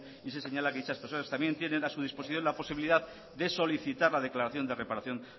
y se señala que dichas personas también tienen a su disposición la posibilidad de solicitar la declaración de reparación